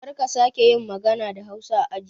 Karka sake yin magana da hausa a aji